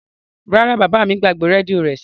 Rara, baba mi gbagbe redio rẹ sile.